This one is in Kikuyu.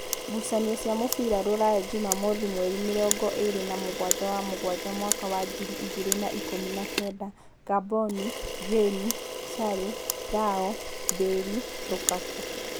Ngucanio cia mũbira Ruraya Jumamothi mweri mĩrongoĩrĩ namũgwanja wa mũgwanja mwaka wa ngiri igĩrĩ na ikũmi na kenda: Ngamboni, Jane, Shaly, Rao, Mbirĩ, Rukaku